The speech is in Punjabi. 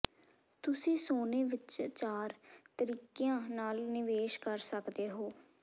ਤੁਸੀਂ ਸੋਨੇ ਵਿਚ ਚਾਰ ਤਰੀਕਿਆਂ ਨਾਲ ਨਿਵੇਸ਼ ਕਰ ਸਕਦੇ ਹੋ